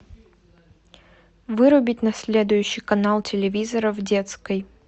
вырубить на следующий канал телевизора в детской